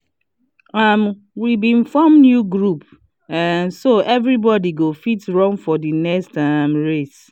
um we been form new groups um so every body go fit run for the next um race